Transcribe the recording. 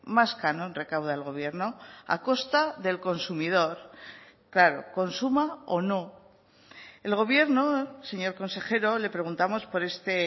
más canon recauda el gobierno a costa del consumidor claro consuma o no el gobierno señor consejero le preguntamos por este